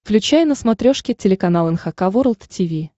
включай на смотрешке телеканал эн эйч кей волд ти ви